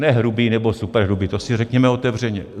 Ne hrubý nebo superhrubý, to si řekněme otevřeně.